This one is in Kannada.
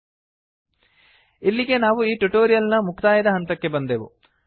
ಲ್ಟ್ಪಾಸೆಗ್ಟ್ ಇಲ್ಲಿಗೆ ನಾವು ಈ ಟ್ಯುಟೋರಿಯಲ್ ನ ಮುಕ್ತಾಯದ ಹಂತಕ್ಕೆ ಬಂದೆವು